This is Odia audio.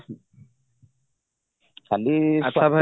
କାଲି ଆଛା ଭାଇ